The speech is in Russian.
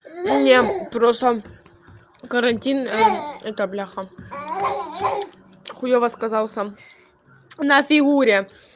мне просто карантин это бляха хуёва сказался на фигуре